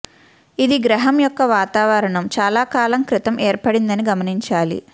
ఇది గ్రహం యొక్క వాతావరణం చాలా కాలం క్రితం ఏర్పడిందని గమనించాలి